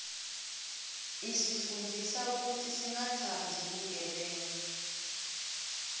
isifundzisa kutsi singatsandzi bugebengu